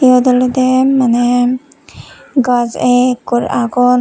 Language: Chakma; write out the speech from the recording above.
yot olode mane gaj ekkur agon.